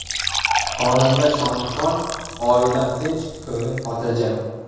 Xonanda Shohruxxon: Oilam tinch, ko‘nglim xotirjam.